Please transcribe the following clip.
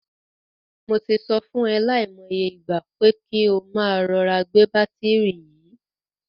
Mo ti sọ fún e lai mo iye ìgbà, pé kí o máa rọra gbé bátìrì yìí.